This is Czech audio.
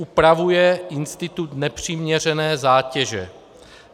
Upravuje institut nepřiměřené zátěže.